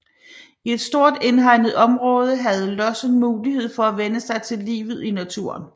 I et stort indhegnet område havde lossen mulighed for at vænne sig til livet i naturen